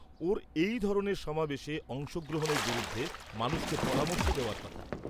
ওঁর এই ধরনের সমাবেশে অংশগ্রহণের বিরুদ্ধে মানুষকে পরামর্শ দেওয়ার কথা।